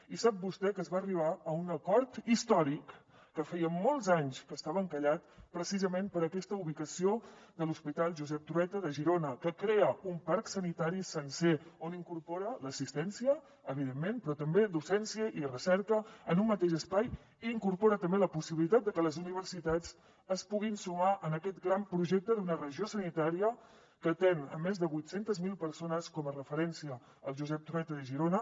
i sap vostè que es va arribar a un acord històric que feia molts anys que estava encallat precisament per aquesta ubicació de l’hospital josep trueta de girona que crea un parc sanitari sencer on incorpora l’assistència evidentment però també docència i recerca en un mateix espai i incorpora també la possibilitat de que les universitats es puguin sumar a aquest gran projecte d’una regió sanitària que atén més de vuit cents miler persones com a referència el josep trueta de girona